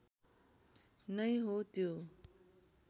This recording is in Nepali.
नै हो त्यो